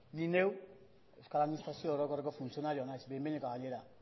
ni neu euskal administrazio orokorreko funtzionarioa naiz behin behinekoa gainera